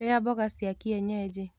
Rĩa mboga cia kienyeji.